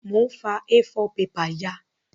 Mo n fa A4 paper ya